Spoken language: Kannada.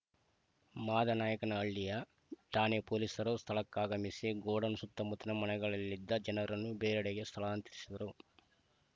ಮಾದನಾಯಕನಹಳ್ಳಿ ಠಾಣೆ ಪೊಲೀಸರು ಸ್ಥಳಕ್ಕಾಗಮಿಸಿ ಗೋಡೌನ್‌ ಸುತ್ತಮುತ್ತಲಿನ ಮನೆಗಳಲಿದ್ದ ಜನರನ್ನು ಬೇರೆಡೆಗೆ ಸ್ಥಳಾಂತರಿಸಿದರು